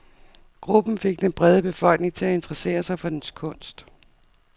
Gruppen fik den brede befolkning til at interessere sig for dens kunst.